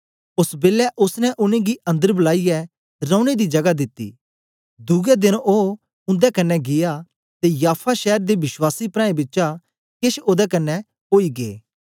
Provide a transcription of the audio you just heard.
ओस बेलै ओसने उनेंगी अन्दर बलाईयै रौने दी जगा दिती दुए देन ओ उंदे कन्ने गीया ते याफा शैर दे विश्वासी प्राऐं बिचा केछ ओदे कन्ने ओई गै